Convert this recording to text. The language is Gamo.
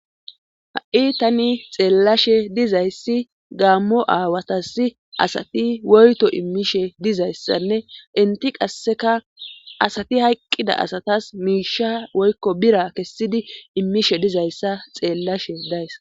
ha7i tani xeellashe dizayssi gaammo aawatasi asati woyto immishe dizayssanne inti qasseka asati hayqqida asatas miisha woykko bira kessidi immishe dizayssa xeellashe days